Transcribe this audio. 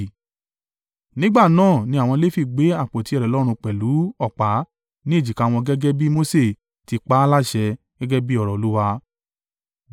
Nígbà náà ni àwọn Lefi gbé àpótí ẹ̀rí Ọlọ́run pẹ̀lú ọ̀pá ní èjìká wọn gẹ́gẹ́ bí Mose ti pa á láṣẹ gẹ́gẹ́ bí ọ̀rọ̀ Olúwa.